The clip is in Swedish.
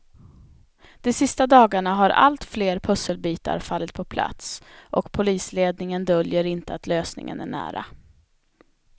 De sista dagarna har allt fler pusselbitar fallit på plats och polisledningen döljer inte att lösningen är nära.